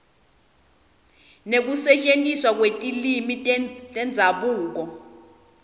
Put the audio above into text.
nekusetjentiswa kwetilwimi tendzabuko